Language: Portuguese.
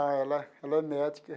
Não, ela ela é médica.